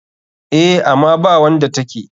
Eh, ama bawanda take.